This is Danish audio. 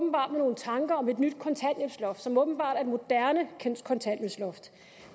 nogle tanker om et nyt kontanthjælpsloft som åbenbart er et moderne kontanthjælpsloft